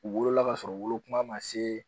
U wolola ka sɔrɔ wolo kuma ma se